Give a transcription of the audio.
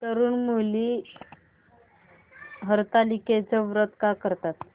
तरुण मुली हरतालिकेचं व्रत का करतात